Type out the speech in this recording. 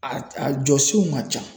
A a jɔsenw ka ca.